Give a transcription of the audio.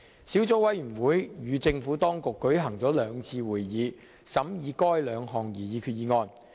小組委員會與政府當局舉行了兩次會議，審議該兩項擬議決議案。